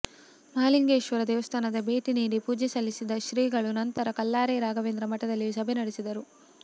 ಮಹಾಲಿಂಗೇಶ್ವರ ದೇವಸ್ಥಾನಕ್ಕೆ ಭೇಟಿನೀಡಿ ಪೂಜೆ ಸಲ್ಲಿಸಿದ ಶ್ರೀಗಳು ನಂತರ ಕಲ್ಲಾರೆ ರಾಘವೇಂದ್ರ ಮಠದಲ್ಲಿ ಸಭೆ ನಡೆಸಿದರು